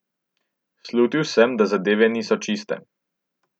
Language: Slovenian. Slutil sem, da zadeve niso čiste.